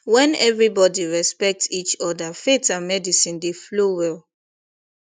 when everybody respect each other faith and medicine dey flow well